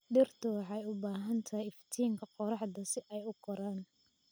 Dhirtu waxay u baahan tahay iftiinka qoraxda si ay u koraan.